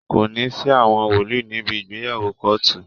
Kò ní sí àwọn wòlíì níbi ìgbeyàwó kóòtù